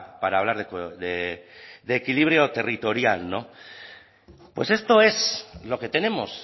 para hablar de equilibrio territorial pues esto es lo que tenemos